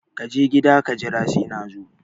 Kaje gida ka jira sai nazo